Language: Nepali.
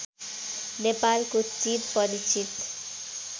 नेपालको चिर परिचित